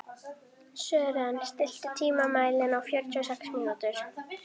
Sören, stilltu tímamælinn á fjörutíu og sex mínútur.